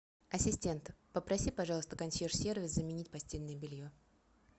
ассистент попроси пожалуйста консьерж сервис заменить постельное белье